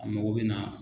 A mago bɛ na